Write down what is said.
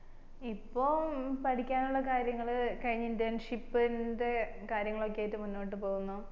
ഇപ്പോം പഠിക്കാനുള്ള കാര്യങ്ങള് കഴിഞ്ഞു internship ന്റെ കാര്യങ്ങളൊക്കെ ആയിട്ട് മുന്നോട്ട് പോകുന്നു